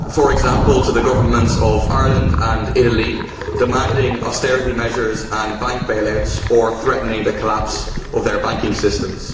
For example, to the governments of Ireland and Italy, demanding austerity measures and bank bail outs or threatening the collapse of their banking systems.